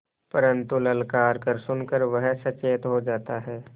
परन्तु ललकार सुन कर वह सचेत हो जाता है